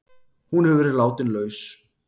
Hún hefur verið látin laus